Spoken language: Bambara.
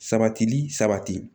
Sabatili sabati